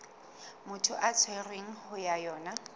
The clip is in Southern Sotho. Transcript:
motho a tshwerweng ho yona